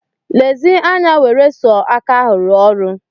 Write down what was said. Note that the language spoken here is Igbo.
Lezi anya nwere sọ aka ahụ rụọ ọrụ.